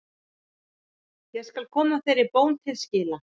Ég skal koma þeirri bón til skila.